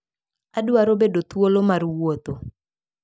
Adwaro bedo thuolo mar wuotho.